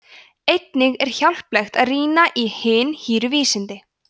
einnig er hjálplegt að rýna í hin hýru vísindi